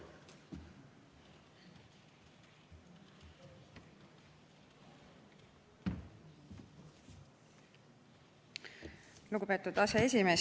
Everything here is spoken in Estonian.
Lugupeetud aseesimees!